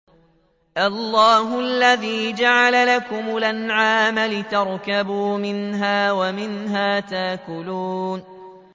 اللَّهُ الَّذِي جَعَلَ لَكُمُ الْأَنْعَامَ لِتَرْكَبُوا مِنْهَا وَمِنْهَا تَأْكُلُونَ